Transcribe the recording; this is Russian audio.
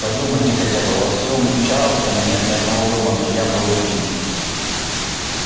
подумайте хотя бы во всем чарльстоне нет ни одного дома где я бы был принят